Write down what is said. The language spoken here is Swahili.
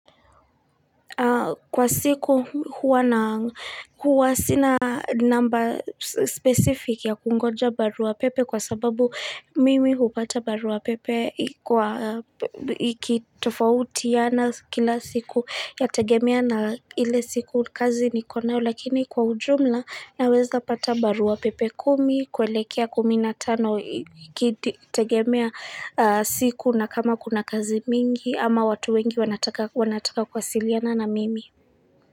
Kwa siku huwa sina number specific ya kungonja barua pepe kwa sababu mimi hupata barua pepe ikitofautiana kila siku yategemea na ile siku kazi niko nayo lakini kwa ujumla naweza pata barua pepe kumi kuelekea kumi na tano ikitegemea siku na kama kuna kazi mingi ama watu wengi wanataka kuwasiliana na mimi.